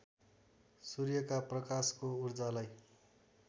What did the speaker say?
सूर्यका प्रकाशको ऊर्जालाई